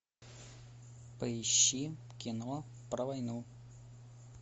поищи кино про войну